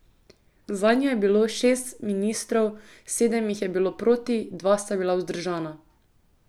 Zanjo je bilo šest ministrov, sedem jih je bilo proti, dva sta bila vzdržana.